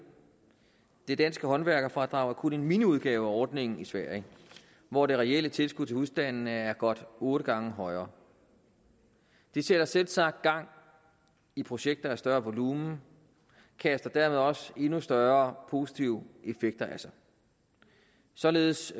det danske håndværkerfradrag er kun en miniudgave af ordningen i sverige hvor det reelle tilskud til husstandene er godt otte gange højere det sætter selvsagt gang i projekter af større volumen og kaster dermed også endnu større positive effekter af sig således